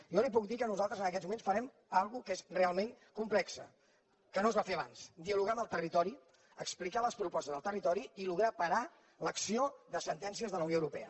jo li puc dir que nosaltres en aquests moments farem una cosa que és realment complex que no es va fer abans dialogar amb el territori explicar les propostes al territori i aconseguir parar l’acció de sentències de la unió europea